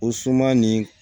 O suman nin